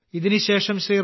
ഇതിനുശേഷം ശ്രീ